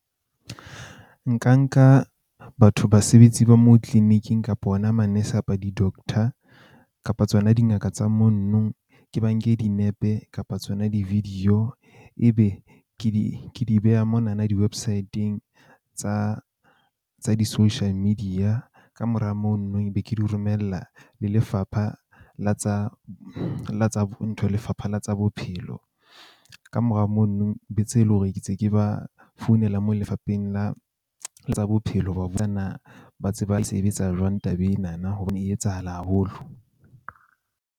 Nka nka batho, basebetsi ba moo clinic-ing kapo ona manese apa di-doctor kapa tsona dingaka tsa monno. Ke ba nke dinepe kapa tsona di-video ebe ke di ke di beha monana di-website-ng tsa tsa di-social media. Kamora mono be ke di romella le lefapha la tsa la tsa ntho lefapha la tsa bophelo. Kamora mono, le tsebe hore ke ntse ke ba founela moo Lefapeng la tsa Bophelo ho ba na ba tse ba sebetsa jwang taba enana e etsahala haholo.